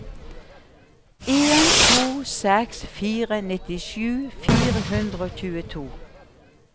en to seks fire nittisju fire hundre og tjueto